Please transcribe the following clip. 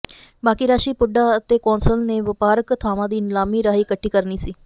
ਬਾਕੀ ਰਾਸ਼ੀ ਪੁੱਡਾ ਅਤੇ ਕੌਂਸਲ ਨੇ ਵਪਾਰਕ ਥਾਵਾਂ ਦੀ ਨਿਲਾਮੀ ਰਾਹੀਂ ਇਕੱਠੀ ਕਰਨੀ ਸੀ